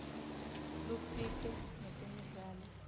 lusito ngetemidlalo